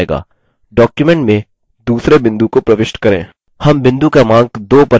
document में दूसरे बिंदु को प्रविष्ट करें